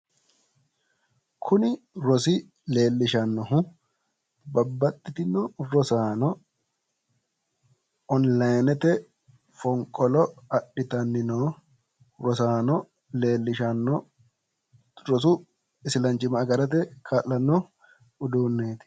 kuni rosi leellishannohu babaxitino rosaano onilayiinete fonqolo adhitanni noo rosaano leellishanno rosu isilaanchimma agarate kaa'lanno uduuneeti.